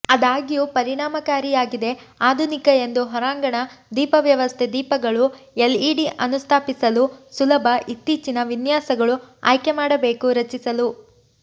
ಆದಾಗ್ಯೂ ಪರಿಣಾಮಕಾರಿಯಾಗಿದೆ ಆಧುನಿಕ ಎಂದು ಹೊರಾಂಗಣ ದೀಪವ್ಯವಸ್ಥೆ ದೀಪಗಳು ಎಲ್ಇಡಿ ಅನುಸ್ಥಾಪಿಸಲು ಸುಲಭ ಇತ್ತೀಚಿನ ವಿನ್ಯಾಸಗಳು ಆಯ್ಕೆ ಮಾಡಬೇಕು ರಚಿಸಲು